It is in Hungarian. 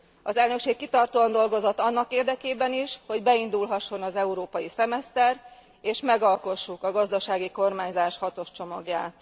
Az elnökség kitartóan dolgozott annak érdekében is, hogy beindulhasson az európai szemeszter és megalkossuk a gazdasági kormányzás hatos csomagját.